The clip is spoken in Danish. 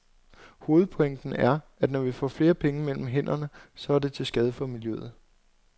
Hovedpointen er, at når vi får flere penge mellem hænderne, så er det til skade for miljøet.